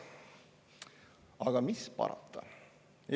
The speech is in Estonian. Aga mis parata?